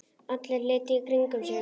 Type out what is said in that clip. Allir litu í kringum sig.